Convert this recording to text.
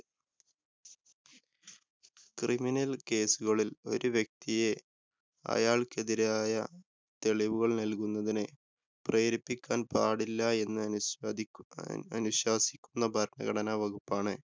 Criminal‍ കേസുകളില്‍ ഒരു വ്യക്തിയെ, അയാള്‍ക്കെതിരായ തെളിവുകള്‍ നല്‍കുന്നതിന്, പ്രേരിപ്പിക്കാന്‍ പാടില്ല എന്ന് അനുസാദി അ~ അനുശാസിക്കുന്ന ഭരണഘടനാ വകുപ്പാണ്.